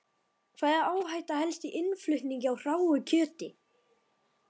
Hvaða áhætta felst í innflutningi á hráu kjöti?